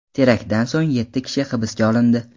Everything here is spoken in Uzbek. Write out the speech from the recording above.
Teraktdan so‘ng yetti kishi hibsga olindi.